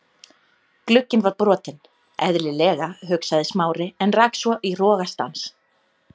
Glugginn var brotinn- eðlilega, hugsaði Smári en rak svo í rogastans.